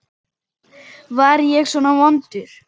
Var ég svona vondur?